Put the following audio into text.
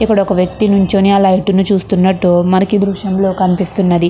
ఇక్కడ ఒక వ్యక్తి నించుని లైట్ ని చూస్తున్నట్టు మనకి ఈ దృశ్యం లో కనిపిస్తునంది.